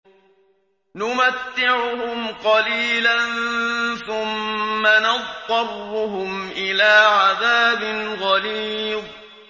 نُمَتِّعُهُمْ قَلِيلًا ثُمَّ نَضْطَرُّهُمْ إِلَىٰ عَذَابٍ غَلِيظٍ